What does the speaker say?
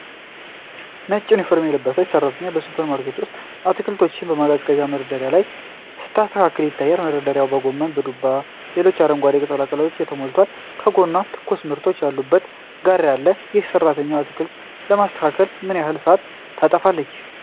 ነጭ ዩኒፎርም የለበሰች ሰራተኛ በሱፐርማርኬት ውስጥ አትክልቶችን በማቀዝቀዣ መደርደሪያ ላይ ስታስተካክል ይታያል። መደርደሪያዎቹ በጎመን፣ በዱባና በሌሎች አረንጓዴ ቅጠላቅጠሎች ተሞልተዋል። ከጎኗ ትኩስ ምርቶች ያሉበት ጋሪ አለ። ይህች ሰራተኛ አትክልቶችን ለማስተካከል ምን ያህል ሰዓት ታጠፋለች?